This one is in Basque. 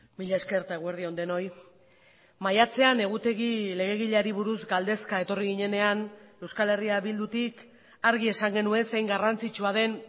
mila esker eta eguerdi on denoi maiatzean egutegi legegileari buruz galdezka etorri ginenean euskal herria bildutik argi esan genuen zein garrantzitsua den